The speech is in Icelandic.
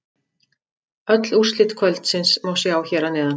Öll úrslit kvöldsins má sjá hér að neðan